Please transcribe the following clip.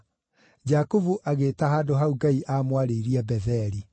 Jakubu agĩĩta handũ hau Ngai aamwarĩirie Betheli.